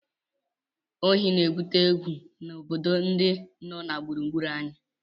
Ohí na-ebute egwu n'obodo ndị nọ gburugburu anyị